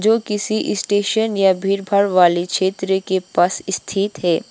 जो किसी स्टेशन या भीड़ भाड़ वाली क्षेत्र के पास स्थित है।